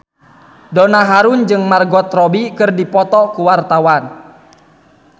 Donna Harun jeung Margot Robbie keur dipoto ku wartawan